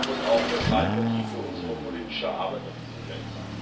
Das muss auch das Leitmotiv für unsere politische Arbeit auf diesem Feld sein.